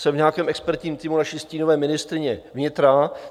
Jsem v nějakém expertním týmu naší stínové ministryně vnitra.